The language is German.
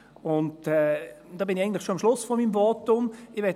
Damit bin ich eigentlich schon am Schluss meines Votums angelangt.